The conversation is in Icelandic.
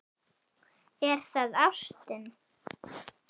Er það ástin?